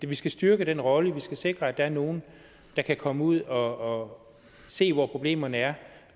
vi skal styrke den rolle og vi skal sikre at der er nogen der kan komme ud og se hvor problemerne er